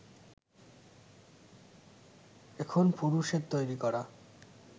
এখন পুরুষের তৈরি করা